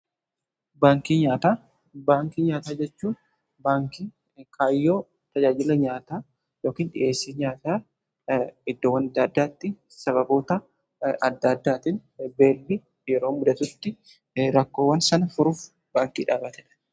Baankii nyaataa jechuu baankii kaayyoo tajaajila nyaataa yookiin dhiheessii nyaata iddoowwan adda addaatti sababoota adda addaatiin beelli yeroo mudatutti rakkoowwan san furuuf baankii dhaabatedha.